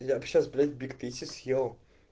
я бы сейчас блять бигтейсти съел